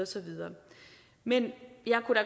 så videre men jeg kunne